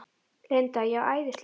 Linda: Já, æðislegt?